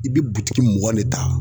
I bɛ butigi mugan de ta